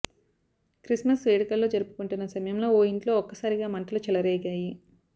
Christmas వేడుకల్లో జరుపుకుంటున్న సమయంలో ఓ ఇంట్లో ఒక్కసారిగా మంటలు చెలరేగాయి